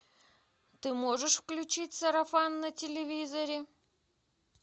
ты можешь включить сарафан на телевизоре